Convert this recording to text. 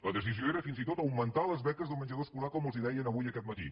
la decisió era fins i tot augmentar les beques de menjador escolar com els deien avui aquest matí